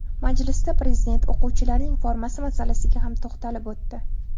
Majlisda Prezident o‘quvchilarning formasi masalasiga ham to‘xtalib o‘tdi.